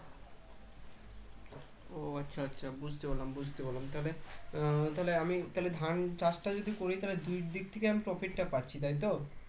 ও আচ্ছা আচ্ছা বুঝতে পারলাম বুঝতে পারলাম তাহলে উম তাহলে আমি ধান চাষটা যদি করি তাহলে দুইদিক থেকে আমি profit তা পাচ্ছি তাইতো